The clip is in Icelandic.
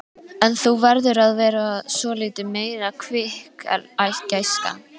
En þú verður að vera svolítið meira kvikk, gæskan.